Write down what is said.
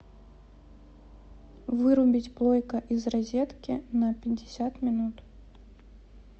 вырубить плойка из розетки на пятьдесят минут